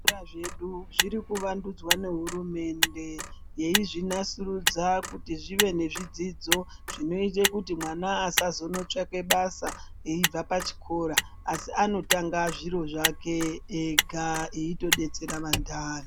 Zvikora zvedu zviri kuvandudzwa ngehurumende yeizvinasurudza kuti zvive nezvidzidzo zvinoite kuti mwana akasazondotsvake basa eibva pachikora asi anotanga zviro zvake ega eitodetsera anthani.